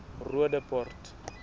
roodepoort